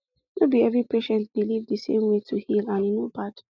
no be every patient believe the same way to heal and e no bad